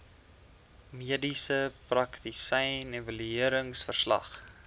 mediese praktisyn evalueringsverslag